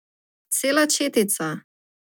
Cela četica.